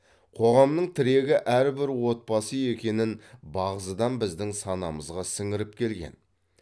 қоғамның тірегі әрбір отбасы екенін бағзыдан біздің санамызға сіңіріп келген